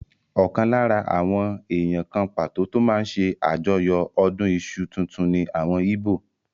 Ọ̀kan lára àwọn èèyàn kan pàtó tó máa n ṣe àjọyọ̀ ọdún iṣu tuntun ní àwọn íbò